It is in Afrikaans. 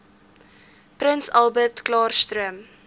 prins albertklaarstroom